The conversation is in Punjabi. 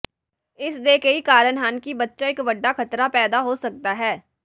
ਇਸ ਦੇ ਕਈ ਕਾਰਨ ਹਨ ਕਿ ਬੱਚਾ ਇੱਕ ਵੱਡਾ ਖ਼ਤਰਾ ਪੈਦਾ ਹੋ ਸਕਦਾ ਹੈ